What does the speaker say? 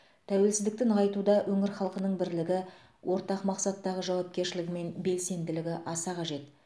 тәуелсіздікті нығайтуда өңір халқының бірлігі ортақ мақсаттағы жауапкершілігі мен белсенділігі аса қажет